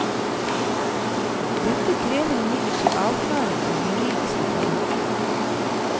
Dette krever imidlertid avklaring av juridiske forhold.